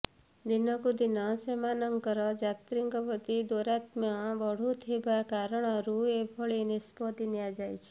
ଦିନକୁ ଦିନ ସେମାନଙ୍କର ଯାତ୍ରୀଙ୍କ ପ୍ରତି ଦୌରାତ୍ମ୍ୟ ବଢୁଥିବା କାରଣରୁ ଏଭଳି ନିଷ୍ପତ୍ତି ନିଆଯାଇଛି